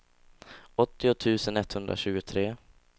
åttio tusen etthundratjugotre